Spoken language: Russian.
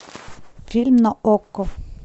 фильм на окко